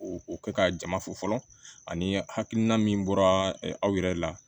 O o kɛ ka jama fo fɔlɔ ani hakilina min bɔra aw yɛrɛ la